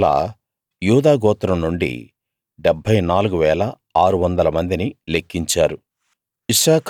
అలా యూదా గోత్రం నుండి 74 600 మందిని లెక్కించారు